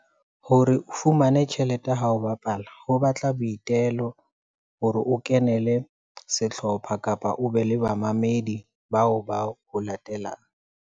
Hore o fumane tjhelete ha o bapala ho batla boitelo, hore o kenele sehlopha kapa o be le bamamedi bao ba o latelang.